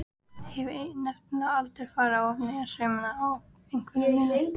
Hef nefnilega aldrei farið ofaní saumana á einveru minni.